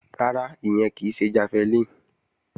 Rárá, ìyẹn kì í ṣe jafẹlíìnì